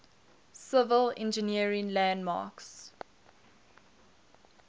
civil engineering landmarks